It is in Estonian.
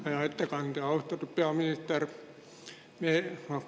Hea ettekandja, austatud peaminister!